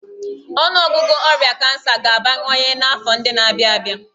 Ọnụọgụgụ ọrịa kansa ga-abawanye n'afọ ndị na-abịa abịa.